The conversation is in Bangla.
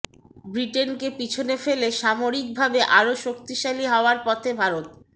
ব্রিটেনকে পিছনে ফেলে সামরিকভাবে আরও শক্তিশালী হওয়ার পথে ভারত